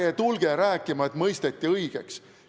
Ärge tulge rääkima, et mõisteti õigeks.